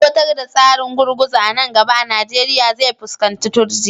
Aiwatar da tsarin gurguzu a nan gaba a Najeriya zai fuskanci turjiya